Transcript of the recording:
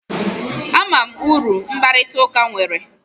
Ama m uru mkparịta ụka nwere